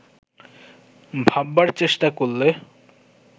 ভাববার চেষ্টা করলে